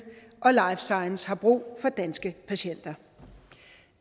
og life science har brug for danske patienter